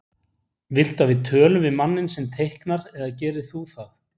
Viltu að við tölum við manninn sem teiknar eða gerir þú það?